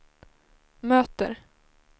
möter